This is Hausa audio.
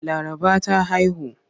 Laraba ta haihu.